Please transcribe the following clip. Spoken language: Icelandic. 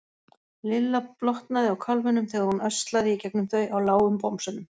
Lilla blotnaði á kálfunum þegar hún öslaði í gegnum þau á lágum bomsunum.